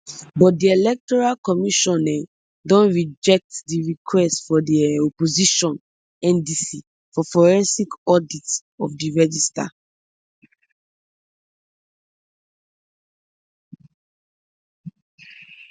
but di electoral commission um don reject di request by di um opposition ndc for forensic audit of di register